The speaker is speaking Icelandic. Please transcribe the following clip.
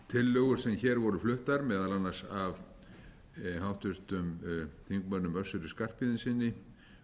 tillögur sem hér voru fluttar meðal annars af háttvirtum þingmönnum össuri skarphéðinssyni